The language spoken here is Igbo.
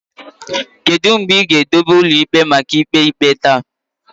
Kedu mgbe ị ga-edobe ụlọ ikpe maka ikpe ikpe taa?